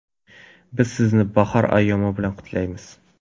Biz sizni bahor ayyomi bilan qutlaymiz!